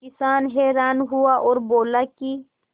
किसान हैरान हुआ और बोला कि